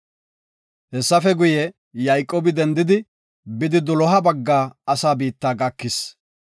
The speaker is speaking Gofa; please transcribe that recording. Hessafe guye, Yayqoobi dendidi, bidi doloha bagga asa biitta gakis.